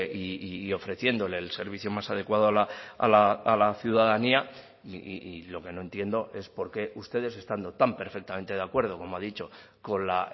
y ofreciéndole el servicio más adecuado a la ciudadanía y lo que no entiendo es por qué ustedes estando tan perfectamente de acuerdo como ha dicho con la